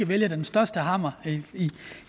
vælge den største hammer